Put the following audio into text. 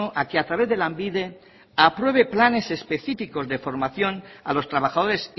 a que a través de lanbide apruebe planes específicos de formación a los trabajadores